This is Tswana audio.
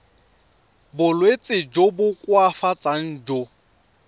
bolwetsi jo bo koafatsang jo